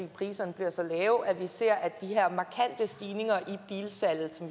priserne bliver så lave ser at de her markante stigninger